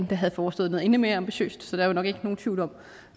der havde foreslået noget endnu mere ambitiøst så der er jo nok ikke nogen tvivl om